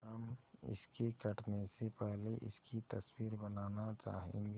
हम इसके कटने से पहले इसकी तस्वीर बनाना चाहेंगे